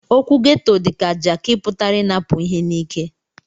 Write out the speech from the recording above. Okwu ghetto dika jaki putara inapu ihe n'ike.